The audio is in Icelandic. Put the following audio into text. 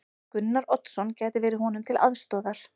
Gunnar Oddsson gæti verið honum til aðstoðar.